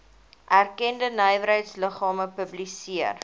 erkende nywerheidsliggame publiseer